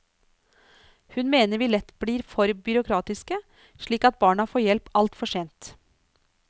Hun mener vi lett blir for byråkratiske, slik at barna får hjelp altfor sent.